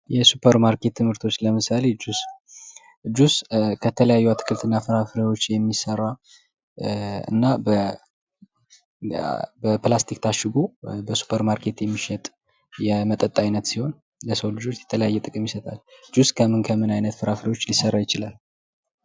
የሱፐር ማርኬት ምርቶች ለምሳሌ ጁስ፦ ጁስ ከተለያዩ አትክልትና ፍራፍሬወች የሚሰራ አና በፕላስቲክ ታሽጎ በሱፐር ማርኬት የሚሸጥ የመጠጥ አይነት ሲሆን ለሰው ልጆች የተለያየ ጥቅም ይሰጣል። ጁስ ከምን ከምን አይነት ፍራፍሬወች ሊሰራ ይችላል?